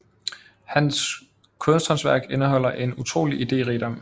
Hans kunsthåndværk indeholder en utrolig iderigdom